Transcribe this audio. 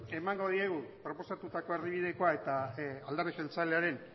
emango diegu proposatutako erdibidekoa eta alderdi jeltzalearen